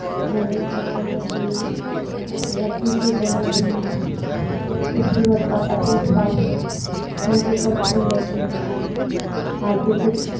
जैसा एक रस्सी से बने हुए खूबसूरत बतखों का है एक उनके ऊपर फूल लगे हुए है। कार्पेट बिछा --